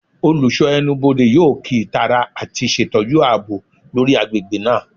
Olusho Ẹnubodè yoo kii itara ati ṣetọju aabo lori agbegbe naa